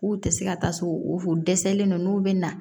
K'u tɛ se ka taa so u dɛsɛlen don n'u bɛ na